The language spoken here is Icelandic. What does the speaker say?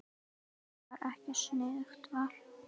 Það var ekki sniðugt val.